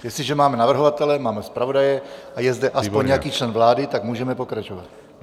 Jestliže máme navrhovatele, máme zpravodaje a je zde aspoň nějaký člen vlády, tak můžeme pokračovat.